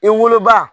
I woloba